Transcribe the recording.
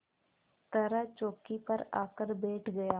तरह चौकी पर आकर बैठ गया